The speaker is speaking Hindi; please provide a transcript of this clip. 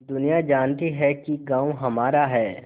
दुनिया जानती है कि गॉँव हमारा है